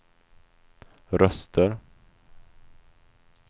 röster